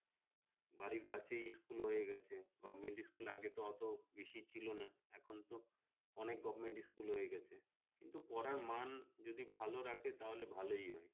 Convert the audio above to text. বাড়ির কাছেই school হয়ে গেছে government school তো আগেও তো বেশি ছিল না এখন তো অনেক government school হয়ে গেছে কিন্তু পড়ার মান যদি ভালো রাখে তাহলে ভালই হয়